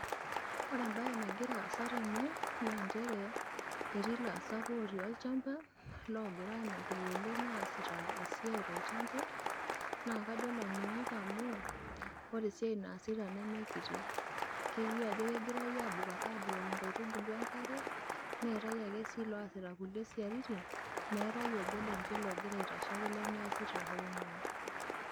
Ore e`mbaye nagira aasa tene naa nchere etii ilaasak ootii olchamba loogira aajokita oleng aas esiai tolchamba. Naa kajo ilanyuak amu ore esiai naasita neme kiti. Kelioo ajo kegirai aabukoki inkaitubulu enkare, neetae ake loasita inkulie siaitin meetae obo lenye ogira aitashe lemeesita hoo nyoo.